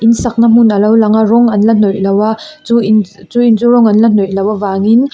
in sakna hmun a lo lang a rawng an la hnawih lo a chu in chu in chu rawng an la hnawih loh avangin --